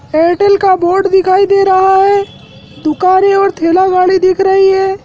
Airtel का बोर्ड दिखाई दे रहा है दुकानें और ठेला गाड़ी दिख रही है।